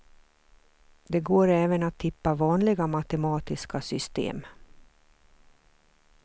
Det går även att tippa vanliga matematiska system.